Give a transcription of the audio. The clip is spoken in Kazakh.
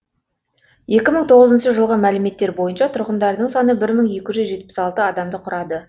екі мың тоғызыншы жылғы мәліметтер бойынша тұрғындарының саны бір мың екі жүз жетпіс алты адамды құрады